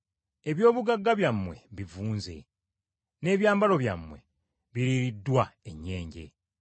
Eby’obugagga byammwe bivunze, n’ebyambalo byammwe biriiriddwa ennyenje.